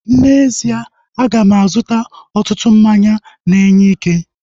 N'ezie, aga m azụta ọtụtụ mmanya na-enye ike